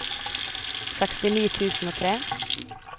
sekstini tusen og tre